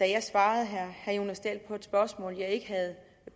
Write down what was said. jeg svarede herre jonas dahl på et spørgsmål som jeg ikke havde